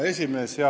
Hea esimees!